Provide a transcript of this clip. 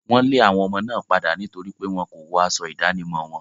Wọ́n lé àwọn ọmọ náà padà nítorí pé wọn kò wọ aṣọ ìdánimọ̀ wọn.